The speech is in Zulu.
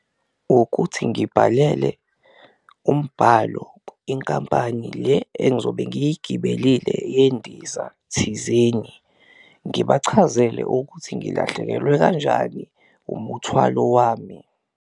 Ukuthi ngibhalele umbhalo inkampani le engizobe ngiyigibelile yendiza thizeni ngibachazele ukuthi ngilahlekelwe kanjani umuthwalo wami.